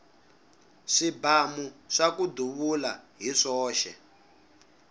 swibamu swaku duvula hi swoxe